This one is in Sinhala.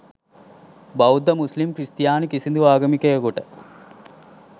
බෞද්ධ මුස්ලිම් ක්‍රිස්තියානි කිසිදු ආගමිකයකුට